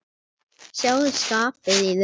Sjáðu skapið í þeim.